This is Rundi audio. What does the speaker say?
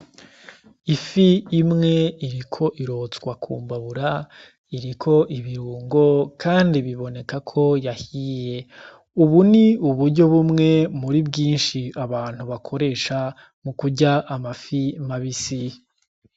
Ifi imwe iriko irotswa ku mbabura iriko ibirungo kandi bibonekako ko yahiye. Ubu ni uburyo bumwe muri bwinshi abantu bakoresha mu kurya amafi mabisi.